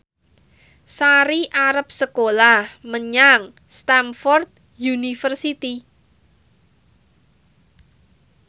Sari arep sekolah menyang Stamford University